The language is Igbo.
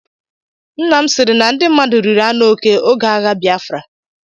Nnam sịrị na ndị mmadụ riri anụ oke oge agha Biafra.